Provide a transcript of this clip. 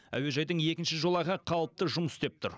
әуежайдың екінші жолағы қалыпты жұмыс істеп тұр